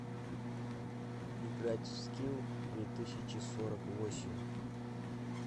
играть в скил две тысячи сорок восемь